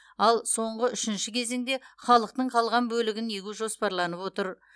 ал соңғы үшінші кезеңде халықтың қалған бөлігін егу жоспарланып отыр